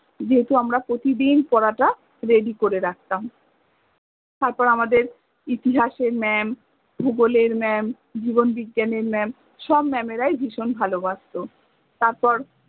যেহেতু আমরা প্রতিদিন পরাটা ready করে রাখ্তাম তারপর আমাদের ইতিহাসের mam, ভূগলের mam, জীবণ বিজ্ঞানের mam সব mam এরাই ভিষণ ভালোবাস্ত তারপর